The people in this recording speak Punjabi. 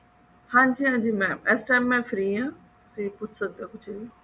ਹਾਂਜੀ ਹਾਂਜੀ mam ਇਸ time ਮੈਂ free ਹਾਂ ਤੁਸੀਂ ਪੁੱਛ ਸਕਦੇ ਹੋ ਕੁਝ ਵੀ